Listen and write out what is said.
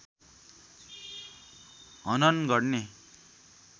हनन गर्ने